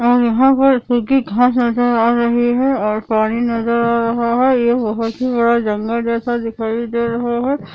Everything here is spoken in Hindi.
और यहां पर सुखी घास नजर आ रही है और पानी नजर आ रहा है ये बहुत ही बड़ा जंगल जैसा दिखाई दे रहा है।